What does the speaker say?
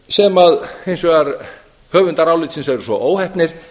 sem hins vegar höfundar álitsins eru svo óheppnir